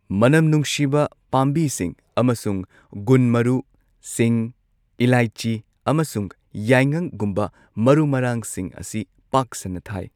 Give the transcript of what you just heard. ꯃꯅꯝ ꯅꯨꯡꯁꯤꯕ ꯄꯥꯝꯕꯤꯁꯤꯡ ꯑꯃꯁꯨꯡ ꯒꯨꯟ ꯃꯔꯨ, ꯁꯤꯡ, ꯏꯂꯥꯏꯆꯤ ꯑꯃꯁꯨꯡ ꯌꯥꯏꯉꯪꯒꯨꯝꯕ ꯃꯔꯨ ꯃꯔꯥꯡꯁꯤꯡ ꯑꯁꯤ ꯄꯥꯛ ꯁꯟꯅ ꯊꯥꯏ꯫